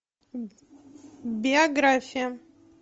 биография